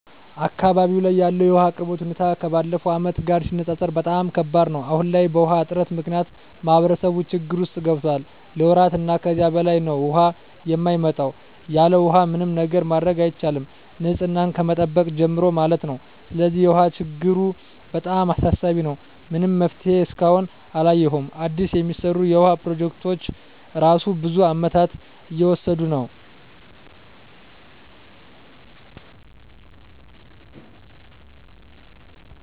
አካባቢው ላይ ያለው የውሃ አቅርቦት ሁኔታ ከባለፉት አመታት ጋር ሲነፃፀር በጣም ከባድ ነው። አሁን ላይ በውሃ እጥረት ምክንያት ማህበረሰቡ ችግር ውስጥ ገብቷል ለወራት እና ከዛ በላይ ነው ውሃ የማይመጣው። ያለውሃ ምንም ነገር ማድረግ አይቻልም ንፅህናን ከመጠበቅ ጀምሮ ማለት ነው። ስለዚህ የውሃ ችግሩ በጣም አሳሳቢ ነው። ምንም መፍትሄ እስካሁን አላየሁም አዲስ የሚሰሩ የውሃ ፕሮጀክቶች እራሱ ብዙ አመታትን እየወሰዱ ነው።